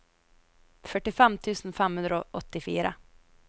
førtifem tusen fem hundre og åttifire